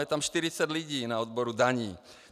Je tam 40 lidí na odboru daní.